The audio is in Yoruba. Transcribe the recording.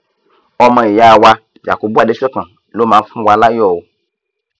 ọmọ ìyá wa yakubu adesokan ló mà fúnwa láyọ o